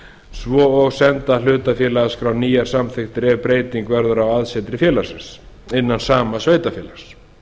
svo og senda hlutafélagaskrá nýjar samþykktir ef breyting verður á aðsetri félagsins innan sama sveitarfélags